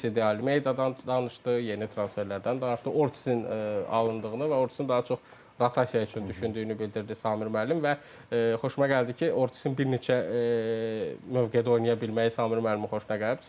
Sesi de Almeidədan danışdı, yeni transferlərdən danışdı, Ortisin alınlığını və Ortizın daha çox rotasiya üçün düşündüyünü bildirdi Samir müəllim və xoşuma gəldi ki, Ortizin bir neçə mövqedə oynaya bilməyi Samir müəllimin xoşuna gəlib.